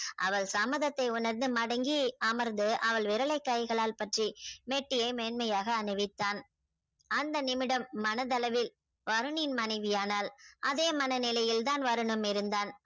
அவள் சம்மதத்தை உனர்ந்து மடங்கி அமர்ந்து அவள் விரல் லை கைகளால் பற்றி மெட்டியை மென்மையாக அணிவித்தான அந்த நிமிடம் மனதளவில வருண் னின் மனைவி ஆனால் அதே மனநிலைதான் வருணும் இருந்தான்